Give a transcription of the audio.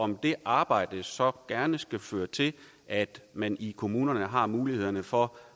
om det arbejde så gerne skulle føre til at man i kommunerne har muligheder for